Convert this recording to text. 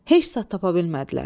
Heç saat tapa bilmədilər.